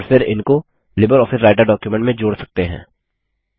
और फिर इनको लिबरऑफिस राइटर डॉक्युमेंट में जोड़ सकते हैं